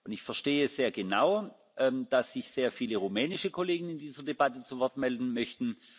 Ich verstehe sehr genau, dass sich sehr viele rumänische Kollegen in dieser Debatte zu Wort melden möchten.